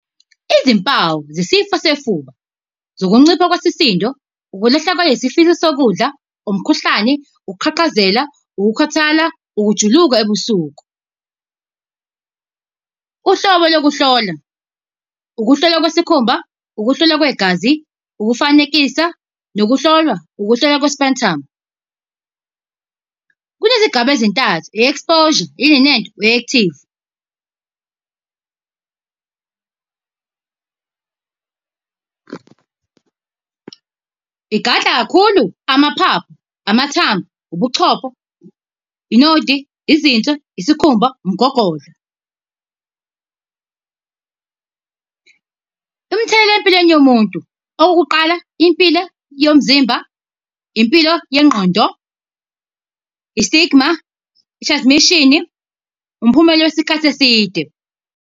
Izimpawu zesifo sefuba zokuncipha kwesisindo, ukulahlekelwa isifiso sokudla, umkhuhlane, ukuqhaqhazela, ukukhathala, ukujuluka ebusuku. Uhlobo lokuhlola, ukuhlolwa kwesikhumba, ukuhlolwa kwegazi, ukufanekisa, nokuhlolwa, ukuhlolwa . Kunezigaba ezintathu, i-exposure . Igadla kakhulu, amaphaphu, amathambo, ubuchopho, i-node, izinso, isikhumba, umgogodla . Imithelela empilweni yomuntu, okokuqala, impilo yomzimba, impilo yengqondo, i-stigma, i-transmissiom, umphumela wesikhathi eside.